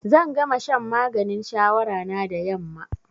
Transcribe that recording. Zan gama shan maganin shawara na da yamma.